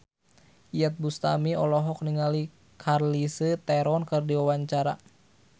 Iyeth Bustami olohok ningali Charlize Theron keur diwawancara